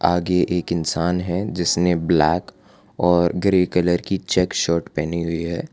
आगे एक इंसान है जिसने ब्लैक और ग्रे कलर की चेक शर्ट पहनी हुई है।